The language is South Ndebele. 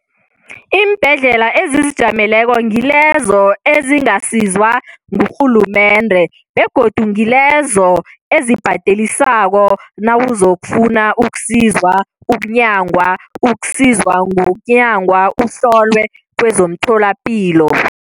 Iimbhedlela ezizijameleko ngilezo ezingasizwa ngurhulumende begodu ngilezo ezibhadelisako nawozokufuna ukusizwa, ukunyangwa, ukusizwa ngokunyangwa uhlolwe kwezomtholapilo.